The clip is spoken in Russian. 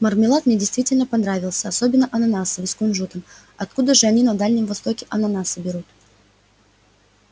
мармелад мне действительно понравился особенно ананасовый с кунжутом откуда же они на дальнем востоке ананасы берут